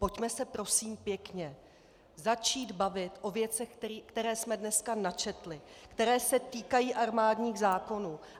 Pojďme se, prosím pěkně, začít bavit o věcech, které jsme dneska načetli, které se týkají armádních zákonů!